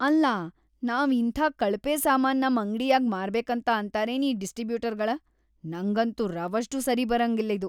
ಅಲ್ಲಾ ನಾವ್‌ ಇಂಥಾ ಕಳಪೆ ಸಾಮಾನ್‌ ನಮ್‌ ಅಂಗ್ಡ್‌ಯಾಗ್ ಮಾರ್ಬೇಕಂತ ಅಂತಾರೇನ್ ಈ ಡಿಸ್ಟ್ರೀಬ್ಯೂಟರ್ಗಳ..‌ ನಂಗಂತೂ ರವಷ್ಟೂ ಸರಿಬರಂಗಿಲ್ಲಿದು.